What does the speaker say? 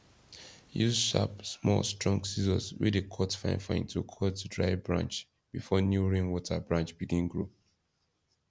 use sharp small strong scissors wey dey cut finefine to cut dry branch before new rain water branch begin grow